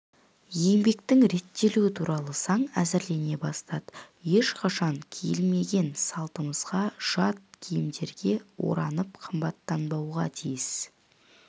еңбектің реттелуі туралы заң әзірлене бастады ешқашан киілмеген салтымызға жат киімдерге оранып-қымтанбауға тиіс